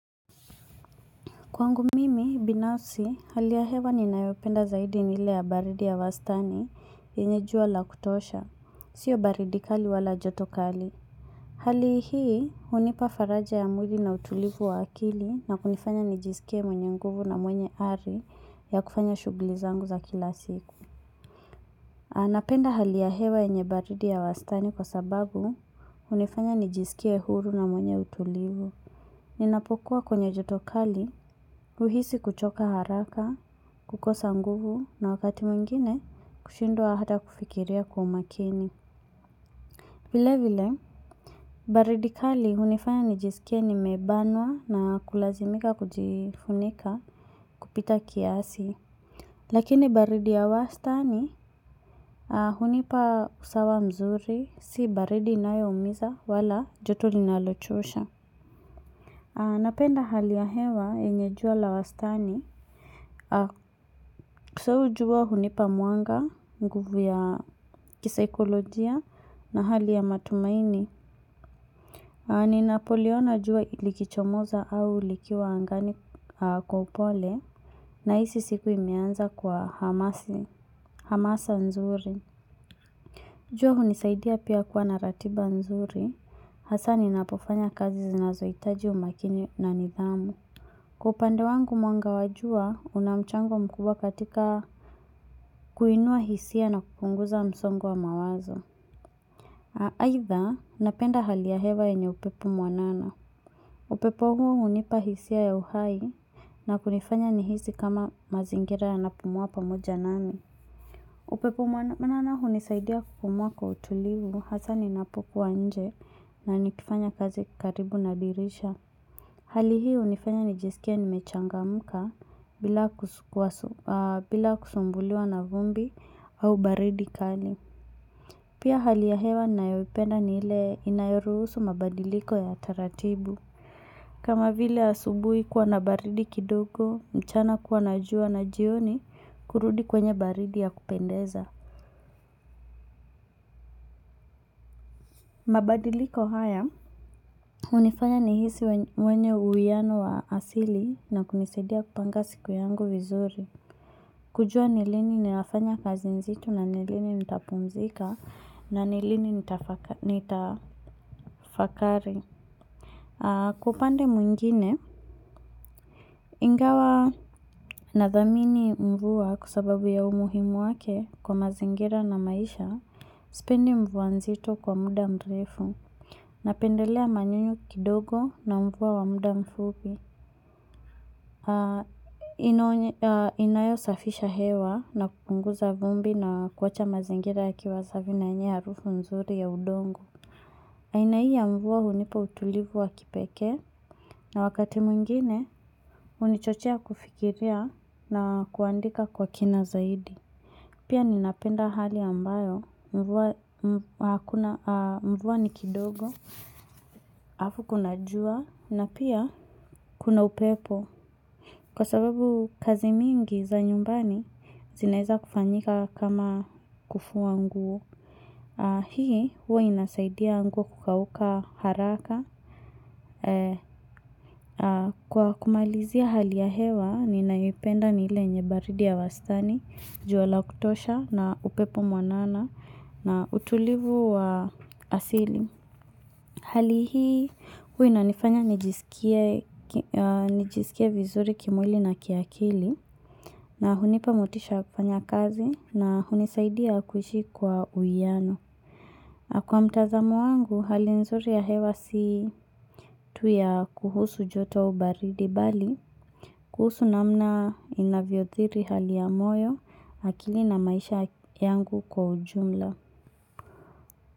Kwangu mimi, binafsi, hali ya hewa ninayoipenda zaidi ni ile ya baridi ya wastani yenye jua la kutosha, sio baridi kali wala joto kali. Hali hii, hunipa faraja ya mwili na utulivu wa akili na kunifanya nijisikie mwenye nguvu na mwenye ari ya kufanya shughuli zangu za kila siku. Napenda hali ya hewa yenye baridi ya wastani kwa sababu hunifanya nijisikie huru na mwenye utulivu. Ninapokuwa kwenye joto kali, huhisi kuchoka haraka, kukosa nguvu na wakati mwingine kushindwa hata kufikiria kwa umakini. Vile vile, baridi kali hunifanya nijisikie nimebanwa na kulazimika kujifunika kupita kiasi. Lakini baridi ya wastani hunipa usawa mzuri, si baridi inayo umiza wala joto linalochosha. Napenda hali ya hewa yenye jua la wastani. Kwa sababu jua hunipa mwanga nguvu ya kisaikolojia na hali ya matumaini. Ninapoliona jua likichomoza au likiwa angani kwa upole nahisi siku imeanza kwa hamasa nzuri. Jua hunisaidia pia kuwa na ratiba nzuri, hasa ninapofanya kazi zinazohitaji umakini na nidhamu. Kwa upande wangu mwanga wa jua, una mchango mkubwa katika kuinua hisia na kupunguza msongo wa mawazo. Aidha, napenda hali ya hewa yenye upepo mwanana. Upepo huo hunipa hisia ya uhai na kunifanya nihisi kama mazingira yanapumua pamoja nami. Upepo mwanana hunisaidia kupumua kwa utulivu hasa ninapokuwa nje na nikifanya kazi karibu na dirisha. Hali hii hunifanya nijisikie nimechangamka bila kusumbuliwa na vumbi au baridi kali. Pia hali ya hewa ninayoipenda ni ile inayoruhusu mabadiliko ya taratibu. Kama vile asubuhi kuwa na baridi kidogo, mchana kuwa na jua na jioni kurudi kwenye baridi ya kupendeza. Mabadiliko haya, hunifanya nihisi mwenye uwiano wa asili na kunisaidia kupanga siku yangu vizuri. Kujua ni lini ninafanya kazi nzito na ni lini nitapumzika na ni lini nitafakari. Kwa upande mwingine, ingawa nadhamini mvua kwa sababu ya umuhimu wake kwa mazingira na maisha, sipendi mvua nzito kwa muda mrefu. Napendelea manyunyu kidogo na mvua wa muda mfupi. Inayo safisha hewa na kupunguza vumbi na kuacha mazingira yakiwa safi na yenye harufu mzuri ya udongo. Aina hii ya mvua hunipa utulivu wa kipekee. Na wakati mwingine, hunichochea kufikiria na kuandika kwa kina zaidi. Pia ninapenda hali ambayo, mvwa ni kidogo, alafu kuna jua, na pia kuna upepo. Kwa sababu kazi mingi za nyumbani, zinaeza kufanyika kama kufua nguo. Hii, huwa inasaidia nguo kukauuka haraka. Kwa kumalizia hali ya hewa, ninayoipenda ni ile yenye baridi ya wastani, jua la kutosha na upepo mwanana. Na utulivu wa asili. Hali hii huwa inanifanya nijisikie vizuri kimwili na kiakili na hunipa motisha ya kufanya kazi na hunisaidia kuishi kwa uwiano. Kwa mtazamo wangu, hali nzuri ya hewa si tu ya kuhusu joto au baridi bali. Kuhusu namna inavyo athiri hali ya moyo, akili na maisha yangu kwa ujumla.